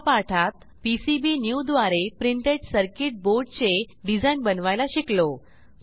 ह्या पाठात पीसीबीन्यू द्वारे प्रिंटेड सर्किट बोर्ड चे डिझाईन बनवायला शिकलो